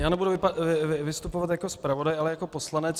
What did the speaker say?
Já nebudu vystupovat jako zpravodaj, ale jako poslanec.